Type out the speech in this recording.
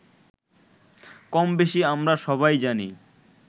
কমবেশি আমরা সবাই জানি